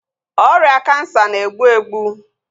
Ọrịa kansa na-egbu egbu